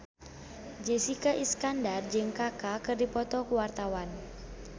Jessica Iskandar jeung Kaka keur dipoto ku wartawan